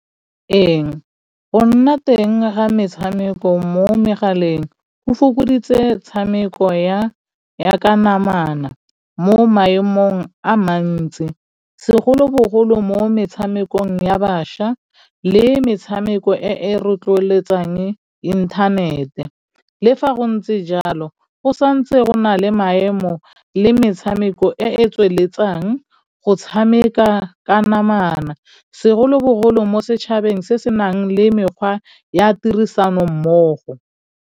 Ee, go nna teng ga metshameko mo megaleng go fokoditse tshameko ya ka namana mo maemong a mantsi segolobogolo mo metshamekong ya bašwa le metshameko e rotloetsang inthanete le fa go ntse jalo go santse gona le maemo le metshameko e tsweletsang go tshameka ka namana segolobogolo mo setšhabeng se senang le mekgwa ya tirisanommogo.